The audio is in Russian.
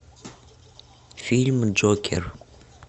фильм джокер